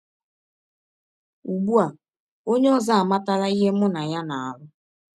Ugbu a, ọnye ọzọ amatala ihe mụ na ya na - alụ.